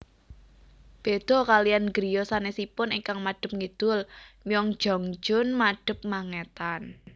Béda kaliyan griya sanesipun ingkang madep ngidul Myeongjeongjeon madep mangetan